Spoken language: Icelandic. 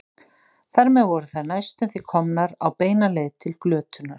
Þar með voru þær næstum því komnar á beina leið til glötunar.